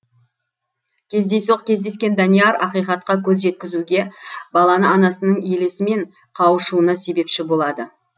кездейсоқ кездескен данияр ақиқатқа көз жеткізуге баланы анасының елесімен қауышуына себепші болады